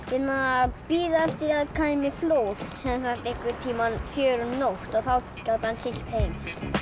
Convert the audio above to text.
að bíða eftir því að kæmi flóð sem var einhvern tíma fjögur um nótt og þá gat hann siglt heim